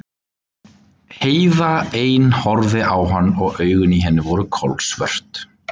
Heiða ein horfði á hana og augun í henni voru kolsvört.